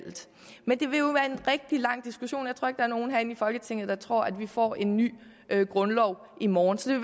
rigtig lang diskussion og er nogen herinde i folketinget der tror at vi får en ny grundlov i morgen så det